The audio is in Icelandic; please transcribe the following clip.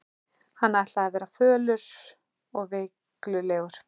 Hann ætlaði að verða fölur og veiklulegur.